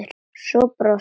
Svo brosir hún.